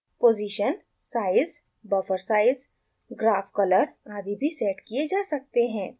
position size buffer size graph color आदि भी set किये जा सकते हैं